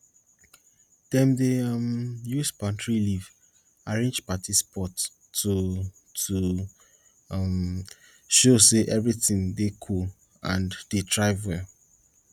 dem dey um use palm tree leaves arrange party spot to to um show say everything dey cool and dey thrive well